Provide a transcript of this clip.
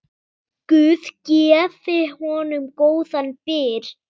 Guð gefi honum góðan byr.